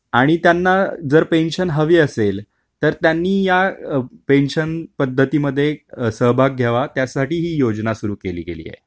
आणि त्यांना जर पेन्शन हवी असेल तर त्यांनी या पेन्शन पद्धतीमध्ये सहभाग घ्यावा त्यासाठी ही योजना सुरू केली गेली आहे.